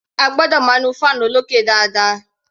A gbọ́dọ̀ máa nu fan olókè dáadáa.